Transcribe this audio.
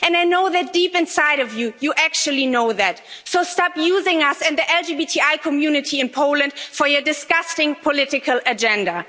And I know that deep inside of you, you actually know that, so stop using us and the LGBTI community in Poland for your disgusting political agenda.